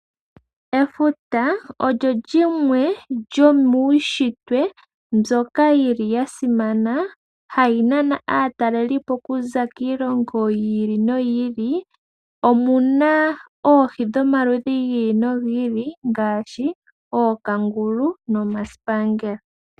Efuta olyo limwe lyomuushitwe mbyoka yili yasimana hayi nana aatalelipo okuza kiilongo yi ili noyi ili . Omuna oohi dhomaludhi gi ili nogi ili ngaashi ookangulu, nomasipangela.